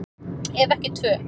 Ef ekki tvö.